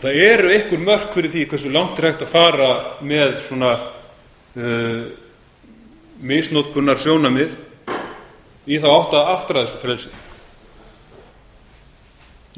það eru einhver mörk fyrir því hversu langt er hægt að fara með þessi misnotkunarsjónarmið í þá átt að fara þessu frelsi